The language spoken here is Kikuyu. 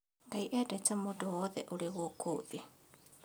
Ngai endete mũndũ wothe ũrĩ gũkũ thĩ